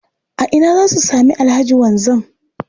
A ina za su sami Alhaji Wanzam?